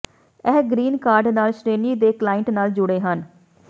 ਇਹ green card ਨਾਲ ਸ਼੍ਰੇਣੀ ਦੇ ਕਲਾਇੰਟ ਨਾਲ ਜੁੜੇ ਹਨ